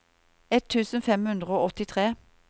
ett tusen fem hundre og åttitre